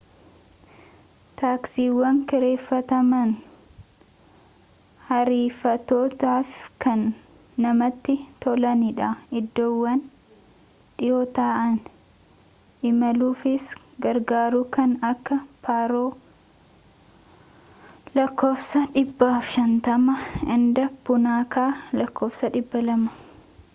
taaksiiwwan kireeffataman ariifatoofi kan namatti tolanidha iddoowwan dhiwoo ta’an imaluufis gargaaru kan akka paaroo lakk 150 and puunaakaa lakk 200